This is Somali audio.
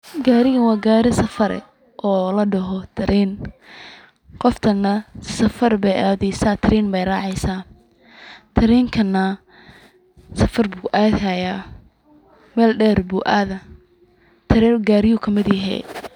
Gaarigan waa gaari safar eh oo ladhoho train qoftan na safar Bay adeysa train Bay raaceysa, treynkan na safar bu adi haya, Mel dheer bu adah, treyn gaariyuhu kamid yehe